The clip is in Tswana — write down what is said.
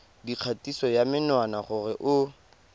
dikgatiso ya menwana gore o